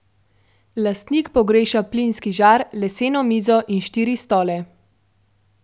Lastnik pogreša plinski žar, leseno mizo in štiri stole.